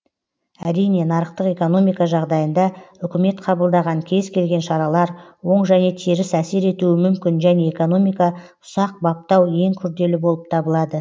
әрине нарықтық экономика жағдайында үкімет қабылдаған кез келген шаралар оң және теріс әсер етуі мүмкін және экономика ұсақ баптау ең күрделі болып табылады